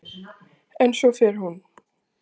En svo fer hún.